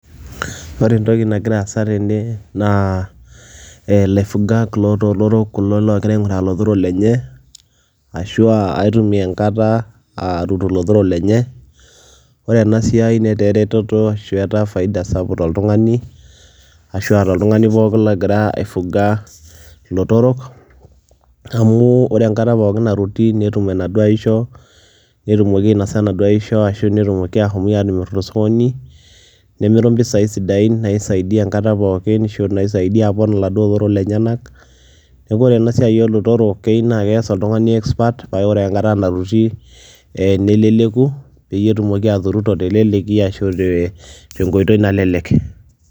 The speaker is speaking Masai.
Ore entoki nagira aasa tene naa ee laifugak loo lotorok kulo loogira aing'uraa lotorok lenye ashu aa aitumia enkata aaturu lotorok lenye. Ore ena siai netaa eretoto ashu etaa faida sapuk toltung'ani ashu aa toltung'ani pookin logira aifuga ilotorok amu ore enkata pookin naruti netum enaduo aisho netumoki ainasa enaduo aisho ashu netumoki aashom atimir to sokoni nemiru mpisai sidain naisaidia enkata pookin ashu naisaidia apon laduo otorok lenyenak. Neeku ore ena siai oo lotorok keyiu naake ees oltung'ani expert pae ore enkata naruti ee neleleku peyie etumoki aturuto te leleki ashu ee te nkoitoi nalelek.